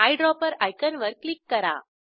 eyedropper आयकॉनवर click करा